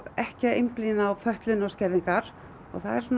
ekki einblína á fötlun og skerðingar og það er